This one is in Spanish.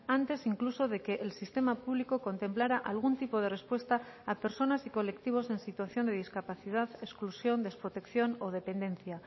antes incluso de que el sistema público contemplara algún tipo de respuesta a personas y colectivos en situación de discapacidad exclusión desprotección o dependencia